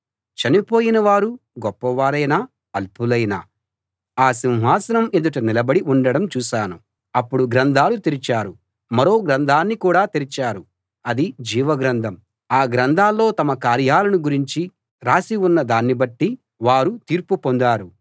చనిపోయిన వారు గొప్పవారైనా అల్పులైనా ఆ సింహాసనం ఎదుట నిలబడి ఉండడం చూశాను అప్పుడు గ్రంథాలు తెరిచారు మరో గ్రంథాన్ని కూడా తెరిచారు అది జీవ గ్రంథం ఆ గ్రంథాల్లో తమ కార్యాలను గురించి రాసి ఉన్న దాన్ని బట్టి వారు తీర్పు పొందారు